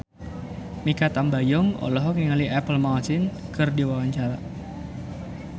Mikha Tambayong olohok ningali Apple Martin keur diwawancara